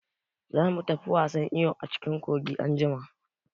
Za mu tafi wasan iyo a cikin kogi anjima.